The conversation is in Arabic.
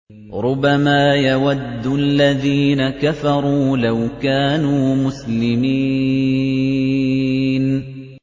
رُّبَمَا يَوَدُّ الَّذِينَ كَفَرُوا لَوْ كَانُوا مُسْلِمِينَ